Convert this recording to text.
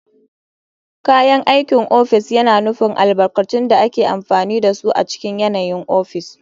Kayan aikin ofis yana nufin albarkatun da ake amfani da su a cikin yanayin ofis.